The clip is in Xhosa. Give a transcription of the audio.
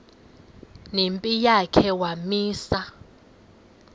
nempi yakhe wamisa